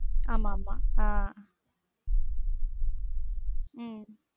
ஆமா ஆமா ஆஹ் உம்